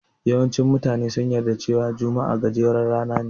Mafi yawancin mutane sun yarda cewa juma'a gajeren rana ne.